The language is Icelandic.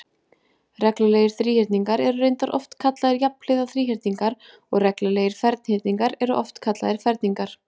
Reglulegir þríhyrningar eru reyndar oftar kallaðir jafnhliða þríhyrningar og reglulegir ferhyrningar eru oftar kallaðir ferningar.